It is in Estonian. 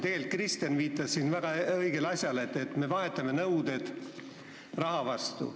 Tegelikult Kristen viitas siin väga õigesti, et me vahetame nõuded raha vastu.